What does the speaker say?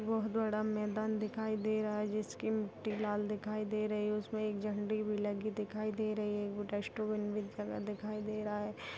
बहुत बड़ा मैदान दिखाई दे रहा है जिसकी मिट्टी लाल दिखाई दे रही है उसमें एक झंडी भी लगी दिखाई दी रही है एगो डस्टबिन भी खड़ा दिखाई दे रहा है।